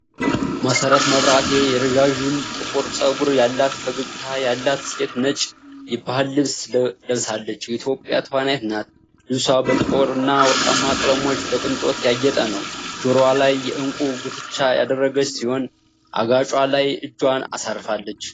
መሰረት መብራቴ የረዣዥም ጥቁር ፀጉር ያላት ፈገግታ ያላት ሴት ነጭ የባህል ልብስ ለብሳለች የኢትዮጵያ ተዋናይት ናት። ልብሷ በጥቁርና ወርቃማ ቀለሞች በቅንጦት ያጌጠ ነው። ጆሮዋ ላይ የዕንቁ ጉትቻ ያደረገች ሲሆን አገጯ ላይ እጇን አሳርፋለች።